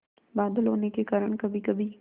बादल होने के कारण कभीकभी